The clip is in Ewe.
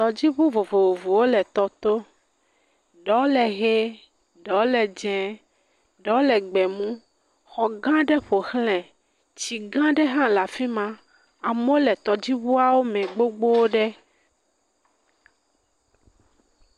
Tɔdziŋu vovovowo le tɔ to, ɖɔ le hee, ɖɔ le dz0ɛ, ɖɔ le gbemu, xɔ gãa ɖe ƒo xlãe, tsi gãa ɖe hã le afi ma, amɔ le tɔdziŋuawo me gbogbo ɖe.